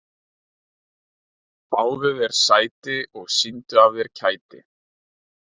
Fáðu þér sæti og sýndu af þér kæti.